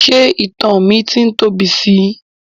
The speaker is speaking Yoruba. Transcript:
Ṣé ìtan mi ti ń tóbi sí i?